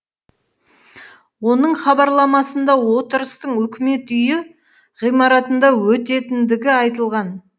оның хабарламасында отырыстың үкімет үйі ғимаратында өтетіндігі айтылған